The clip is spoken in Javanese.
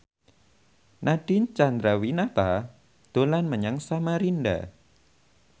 Nadine Chandrawinata dolan menyang Samarinda